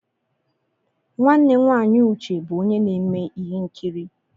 Nwanne nwaanyị Uche bụ onye na-eme ihe nkiri.